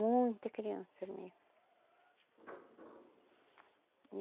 Muita criança mesmo.